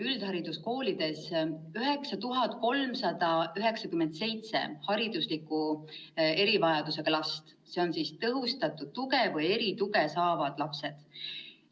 Üldhariduskoolides õpib praegu 9397 haridusliku erivajadusega last, need on tõhustatud tuge või erituge saavad lapsed.